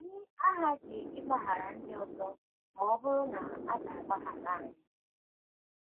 Anyị aghaghị ịgbaghara ndị ọzọ ma ọ bụrụ na a ga - agbaghara anyị - agbaghara anyị